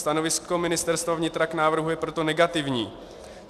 Stanovisko Ministerstva vnitra k návrhu je proto negativní.